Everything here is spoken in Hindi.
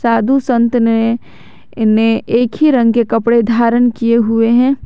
साधु संत ने ने एक ही रंग के कपड़े धारण किए हुए हैं।